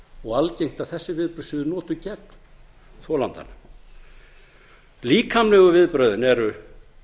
og algengt að þessi viðbrögð séu notuð gegn þolandanum líkamlegu viðbrögðin eru